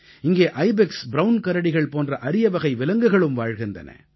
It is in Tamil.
இங்கே ஐபெக்ஸ் ப்ரவுன் கரடிகள் போன்ற அரியவகை விலங்குகளும் வாழ்கின்றன